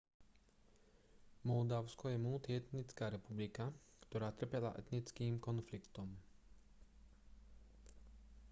moldavsko je multietnická republika ktorá trpela etnickým konfliktom